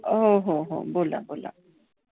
हो, हो, हो बोला बोला.